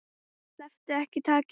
Slepptu ekki takinu.